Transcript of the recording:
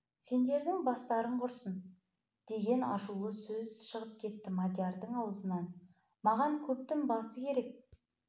сендердің бастарың құрысын деген ашулы сөз шығып кетті мадиярдың аузынан маған көптің басы керек